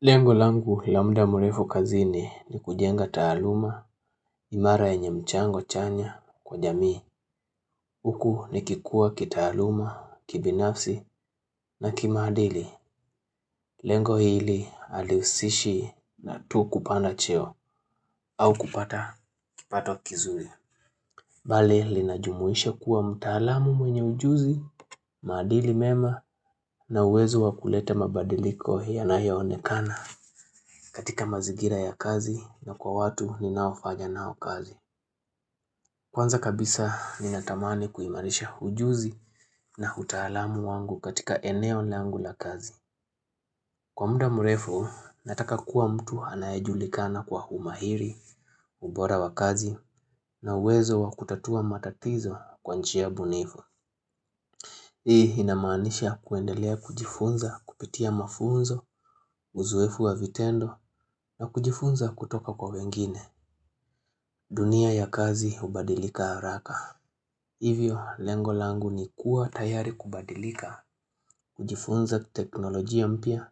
Lengo langu la muda mrefu kazini ni kujenga taaluma imara yenye mchango chanya kwa jamii. Huku nikikuwa kitaaluma, kibinafsi na kimaadili. Lengo hili halihusishi tu kupanda cheo au kupata kipato kizuri. Bali linajumuisha kuwa mtaalamu mwenye ujuzi, maadili mema na uwezo wa kuleta mabadiliko yanayo onekana. Katika mazingira ya kazi na kwa watu ninaofanya nao kazi Kwanza kabisa ninatamani kuimarisha ujuzi na utaalamu wangu katika eneo langu la kazi. Kwa muda mrefu, nataka kuwa mtu anayejulikana kwa umahiri, ubora wa kazi na uwezo wa kutatua matatizo kwa njia bunifu Hii inamaanisha kuendelea kujifunza kupitia mafunzo, uzoefu wa vitendo na kujifunza kutoka kwa wengine. Dunia ya kazi ubadilika haraka Hivyo, lengo langu ni kuwa tayari kubadilika kujifunza teknolojia mpya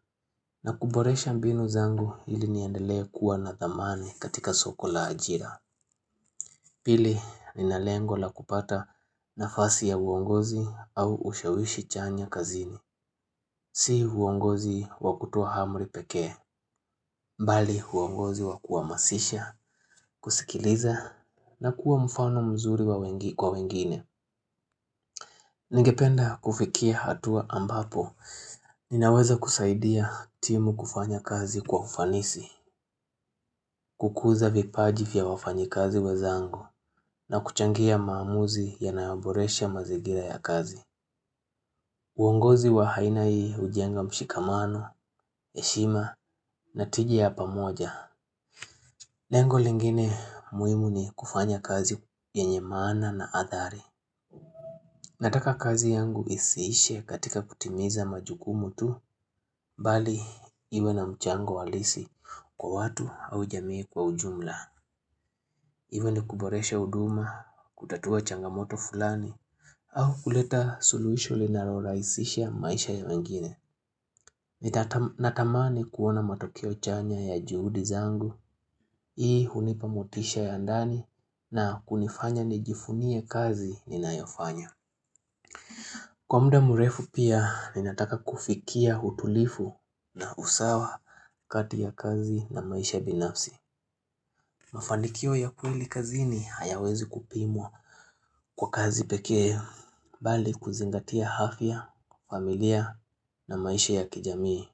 na kuboresha mbinu zangu ili niendelee kuwa na thamani katika soko la ajira Pili, ninalengo la kupata nafasi ya uongozi au ushawishi chanya kazini Si uongozi wa kutoa amri pekee, bali uongozi wa kuwahamasisha, kusikiliza na kuwa mfano mzuri kwa wengine Ningependa kufikia hatua ambapo ninaweza kusaidia timu kufanya kazi kwa ufanisi kukuza vipaji vya wafanyikazi wenzangu na kuchangia maamuzi yanayoboresha mazingira ya kazi uongozi wa aina hii hujenga mshikamano, heshima, na tiji ya pamoja Lengo lingine muhimu ni kufanya kazi yenye maana na adhari Nataka kazi yangu isiishe katika kutimiza majukumu tu, bali iwe na mchango halisi kwa watu au jamii kwa ujumla. Iwe nikuboresha huduma, kutatua changamoto fulani, au kuleta suluisho linalorahisisha maisha ya wengine. Natamani kuona matokeo chanya ya juhudi zangu, hii hunipa motisha ya ndani, na kunifanya nijivunie kazi ninayofanya. Kwa muda mrefu pia, ninataka kufikia utulifu na usawa kati ya kazi na maisha binafsi. Mafanikio ya kweli kazini hayawezi kupimwa kwa kazi pekee, bali kuzingatia afya, familia na maisha ya kijamii.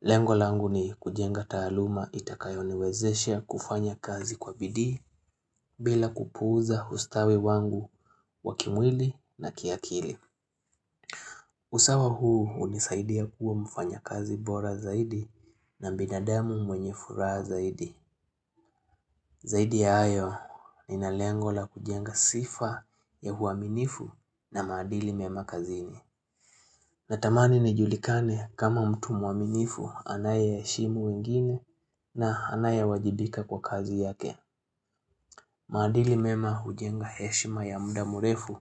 Lengo langu ni kujenga taaluma itakayoniwezeshe kufanya kazi kwa bidii bila kupuuza ustawi wangu wa kimwili na kiakili. Usawa huu hunisaidia kuwa mfanyakazi bora zaidi na binadamu mwenye furaha zaidi. Zaidi ya hayo, nina lengo la kujenga sifa ya uaminifu na maadili mema kazini. Natamani nijulikane kama mtu mwaminifu anayeheshimu wengine na anayewajibika kwa kazi yake. Maadili mema hujenga heshima ya muda mrefu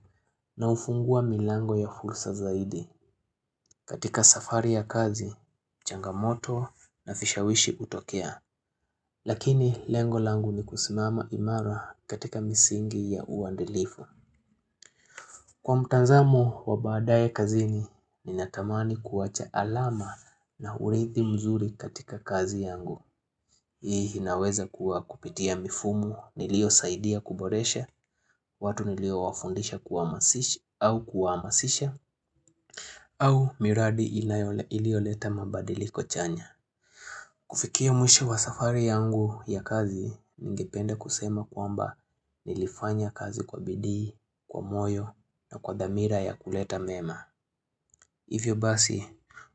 na hufungua milango ya fursa zaidi. Katika safari ya kazi, changamoto na vishawishi hutokea. Lakini lengo langu ni kusimama imara katika misingi ya uadilifu. Kwa mtazamo wa baadaye kazini, ninatamani kuwacha alama na urithi mzuri katika kazi yangu. Hii inaweza kuwa kupitia mifumu niliyosaidia kuboresha, watu niliowafundisha au kuwahamasisha, au miradi ilioleta mabadiliko chanya. Kufikia mwisho wa safari yangu ya kazi, ningependa kusema kwamba nilifanya kazi kwa bidii, kwa moyo na kwa dhamira ya kuleta mema. Hivyo basi,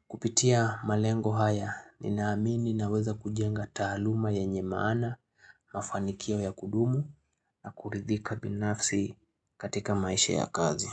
kupitia malengo haya, ninaamini naweza kujenga taaluma yenye maana, mafanikio ya kudumu na kuridhika binafsi katika maisha ya kazi.